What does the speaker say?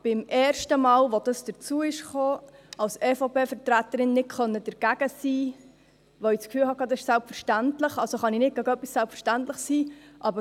Beim ersten Mal, als es dazu kam, konnte ich als EVP-Vertreterin nicht dagegen sein, weil ich das Gefühl hatte, es sei selbstverständlich, also konnte ich nicht gegen etwas Selbstverständliches sein.